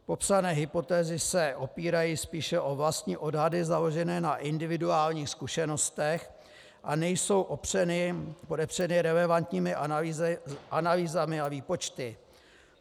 Popsané hypotézy se opírají spíše o vlastní odhady založené na individuálních zkušenostech a nejsou podepřeny relevantními analýzami a výpočty.